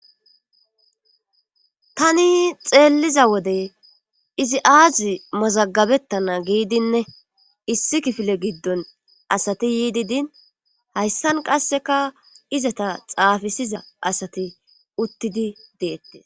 tani xeelliza wodey izi aazi mazagabettana giidinne issi kifile giddon asati yiidi din hayssan qasseka izata xaafisiza asati uttidi deette